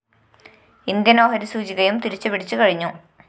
Indian‍ share സൂചികയും തിരിച്ചു പിടിച്ചു കഴിഞ്ഞു